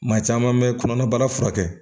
Maa caman bɛ kɔnɔnabaara furakɛ